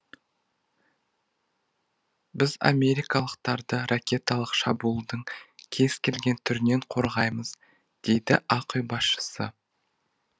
біз америкалықтарды ракеталық шабуылдың кез келген түрінен қорғаймыз дейді ақ үй басшысы